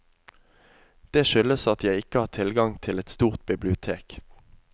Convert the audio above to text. Det skyldes at jeg ikke har tilgang til et stort bibliotek.